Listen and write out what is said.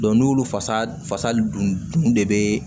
n'olu fasa fasali dun de bɛ